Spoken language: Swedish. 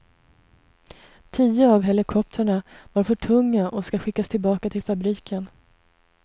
Tio av helikoptrarna var för tunga och ska skickas tillbaka till fabriken.